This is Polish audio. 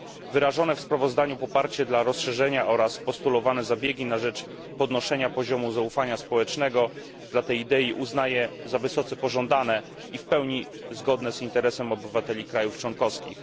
Wyrażone w sprawozdaniu poparcie dla rozszerzenia oraz postulowane zabiegi na rzecz podnoszenia poziomu zaufania społecznego dla tej idei uznaję za wysoce pożądane i w pełni zgodne z interesem obywateli krajów członkowskich.